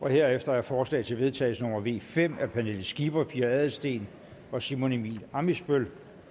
herefter er forslag til vedtagelse nummer v fem af pernille skipper pia adelsteen og simon emil ammitzbøll